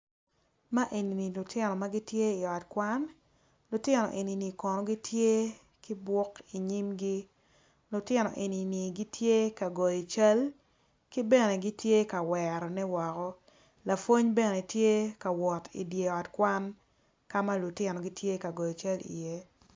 Man eni lutino ma gitye i ot kwan lutino eni gitye ki buk i nyimgi kytino eni gitye ka goyo cal kibene gitye ka werone woko lapwony bene tye ka wot i dye ot kwan.